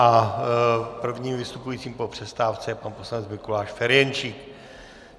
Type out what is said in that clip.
A prvním vystupujícím po přestávce je pan poslanec Mikuláš Ferjenčík.